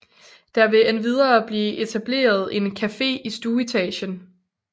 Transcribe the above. Der vil endvidere blive etableret en café i stueetagen